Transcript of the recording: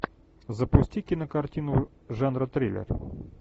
запусти кинокартину жанра триллер